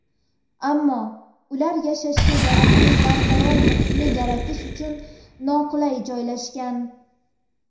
Ammo ular yashashga yaroqli barqaror muhitni yaratish uchun noqulay joylashgan.